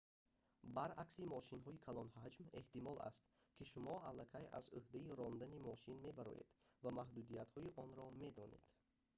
баръакси мошинҳои калонҳаҷм эҳтимол аст ки шумо аллакай аз ӯҳдаи рондани мошин мебароед ва маҳдудиятҳои онро медонед